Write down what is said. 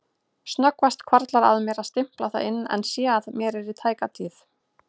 Snöggvast hvarflar að mér að stimpla það inn en sé að mér í tæka tíð.